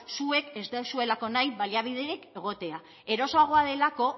zuek ez dozuelako nahi baliabiderik egotea erosoagoa delako